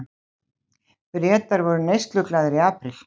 Bretar voru neysluglaðir í apríl